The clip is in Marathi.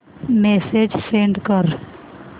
मेसेज सेंड कर